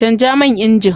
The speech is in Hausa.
Canja man injin.